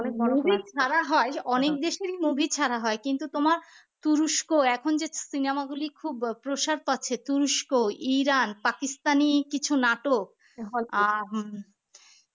movie ছাড়া হয় অনেক দেশের movie ছাড়া হয় কিন্তু তোমার তুরস্ক এখন যে cinema গুলি খুব প্রসাদ পাচ্ছে তুরস্ক, ইরান, পাকিস্তানী কিছু নাটক আহ